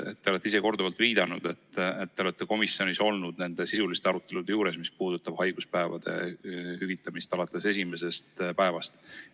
Te olete ise korduvalt viidanud, et olete komisjonis olnud nende sisuliste arutelude juures, mis puudutavad haiguspäevade hüvitamist alates esimesest päevast.